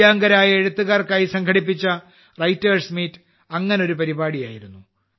ദിവ്യാംഗരായ എഴുത്തുകാർക്കായി സംഘടിപ്പിച്ച writers meet അങ്ങനെയൊരു പരിപാടിയായിരുന്നു